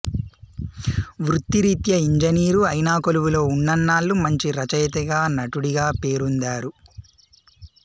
వృత్తిరీత్యా ఇంజనీరు ఐన కొలువులో ఉన్నన్నాళ్లూ మంచి రచయితగా నటుడిగా పేరొందారు